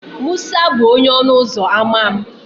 Musa bụ onye ọnụ ụzọ ámá m.